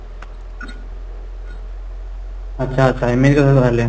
ଆଛା , ଆଚ୍ଛା ଏମିତି ହବ ତାହେଲେ